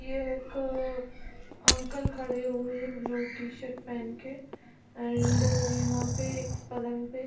ये एक अ अ अंकल खड़े हुए है ब्लू टी शर्ट पहन के एंड यहाँ पे एक पलंग पे--